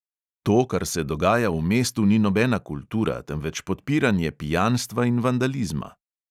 To, kar se dogaja v mestu, ni nobena kultura, temveč podpiranje pijanstva in vandalizma.